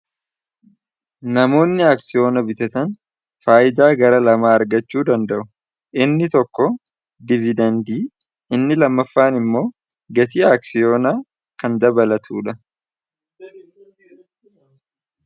Namoonni aksiyoona bitatan faayidaa gara lamaa argachuu danda'u inni tokko dividendii inni lammaffaan immoo gatii aaksiyoonaa kan dabalatuu dha.